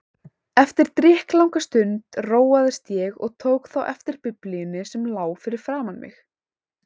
Eftir drykklanga stund róaðist ég og tók þá eftir Biblíunni sem lá fyrir framan mig.